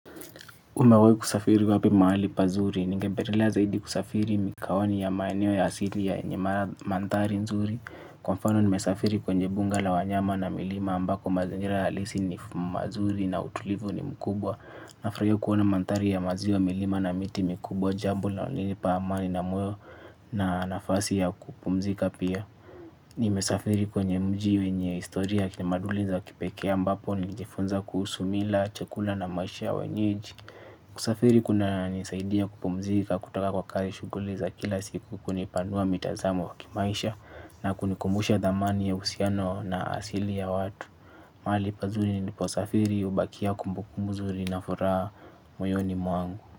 Umewai kusafiri wapi mahali pazuri, ningebelelea zaidi kusafiri mikawani ya maeneo ya asili ya yenyemara manthari nzuri. Kwa mfano nimesafiri kwenye bunga la wanyama na milima ambako mazingira alisi ni mazuri na utulivu ni mkubwa. Nafraio kuona manthari ya maziwa milima na miti mikubwa jambo linalonilipa amani na mweo na nafasi ya kupumzika pia. Nimesafiri kwenye mji wenye historia ya tamaduni za kipekee ambapo nilijifunza kuhusu mila, chakula na maisha ya wenyeji. Kusafiri kunanisaidia kupumzika kutoka kwa kazi, shughuli za kila siku, kunipanua mitazamo ya kimaisha na kunikumbusha thamani ya uhusiano na asili ya watu. Mahali pazuri niliposafiri hubakia kumbukumbu nzuri na furaha moyoni mwangu.